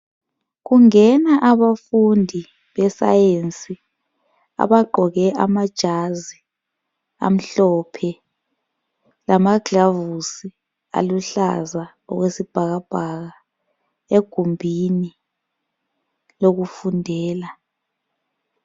Kungena abafundi be-Sayensi abagqoke amajazi amhlophe lamaglavusi aluhlaza okwesibhakabhaka egumbini lokufundela.